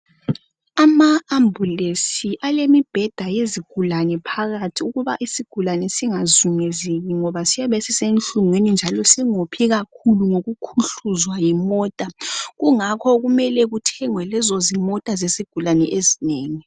Ama ambulance alemibheda yezigulani phakathi ukuba isigulani singazungezeki ngoba siyabe sisehlungwini njalo singophi kakhulu ngokukhuhluzwa yimota kungakho kumele kuthengwe lezo zimota zesigulani ezinengi.